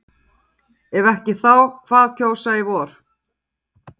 Heimir: Ef ekki þá hvað kjósa í vor?